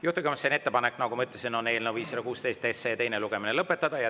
Juhtivkomisjoni ettepanek, nagu ma ütlesin, on eelnõu 516 teine lugemine lõpetada.